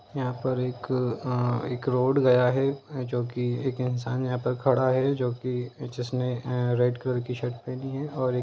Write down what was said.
यहाँ पर एक एक रोड गया है जो कि एक इन्सान यहाँ पर खड़ा है जो कि जिसने आ रेड कलर कि शर्ट पहनी है और एक --